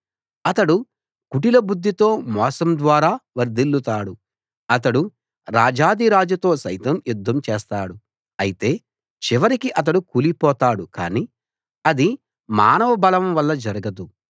అతడు కుటిల బుద్ధితో మోసం ద్వారా వర్థిల్లుతాడు అతడు రాజాధిరాజుతో సైతం యుద్ధం చేస్తాడు అయితే చివరికి అతడు కూలిపోతాడుకానీ అది మానవ బలం వల్ల జరగదు